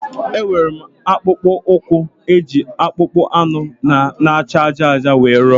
Enwere m akpụkpọ ụkwụ e ji akpụkpọ anụ na acha ájá ájá were rụọ